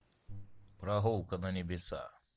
прогулка на небеса